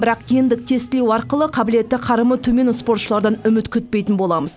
бірақ гендік тестілеу арқылы қабілеті қарымы төмен спортшылардан үміт күтпейтін боламыз